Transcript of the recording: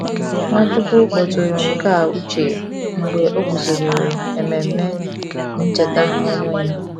Nwachukwu kpọtụrụ nke a uche mgbe o guzobere Ememe Ncheta ọnwụ ya.